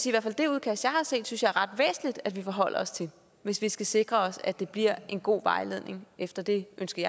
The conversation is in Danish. i hvert fald det udkast jeg har set synes jeg er ret væsentligt at vi forholder os til hvis vi skal sikre os at det bliver en god vejledning efter det ønske